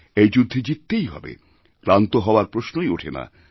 এই যুদ্ধে জিততেই হবে ক্লান্ত হওয়ার প্রশ্নই ওঠে না